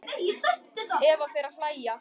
Eva fer að hlæja.